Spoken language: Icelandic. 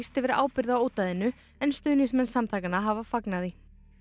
yfir ábyrgð á en stuðningsmenn samtakanna hafa fagnað því